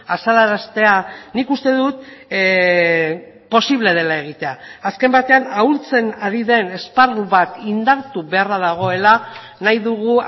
azalaraztea nik uste dut posible dela egitea azken batean ahultzen ari den esparru bat indartu beharra dagoela nahi dugu